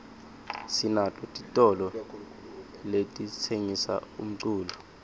sinato titolo letitsengisa umculo